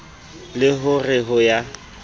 le ho re ho ya